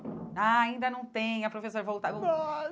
Ah, ainda não tem, a professora faltou.